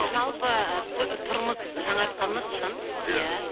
жалпы тұрмыс жаңартқанымыз шын иә